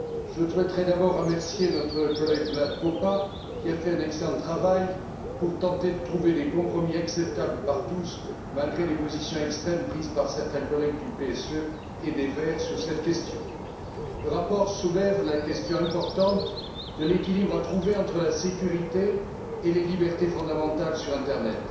Je souhaiterais d'abord remercier notre collègue Vlad Popa qui a fait un excellent travail pour tenter de trouver des compromis acceptables par tous, malgré les positions extrêmes prises par certains collègues du PSE et des Verts sur cette question. Le rapport soulève la question importante de l'équilibre à trouver entre la sécurité et les libertés fondamentales sur Internet.